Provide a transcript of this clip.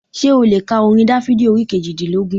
Sé ó le è ka orin Dáfídì orí kejìdínlógún